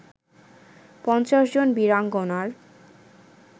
৫০ জন বীরাঙ্গনার